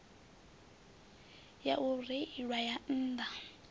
ya u reila ya nnḓa